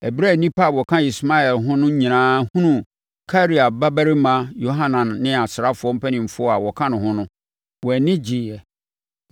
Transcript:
Ɛberɛ a nnipa a wɔka Ismael ho no nyinaa hunuu Karea babarima Yohanan ne asraafoɔ mpanimfoɔ a wɔka ne ho no, wɔn ani gyeeɛ.